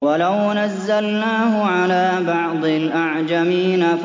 وَلَوْ نَزَّلْنَاهُ عَلَىٰ بَعْضِ الْأَعْجَمِينَ